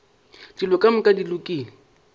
dilo ka moka di lokile